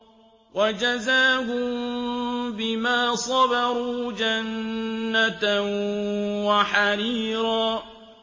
وَجَزَاهُم بِمَا صَبَرُوا جَنَّةً وَحَرِيرًا